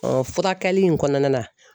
furakɛli in kɔnɔna na.